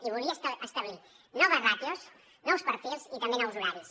i volia establir noves ràtios nous perfils i també nous horaris